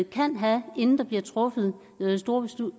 kan have inden der bliver truffet store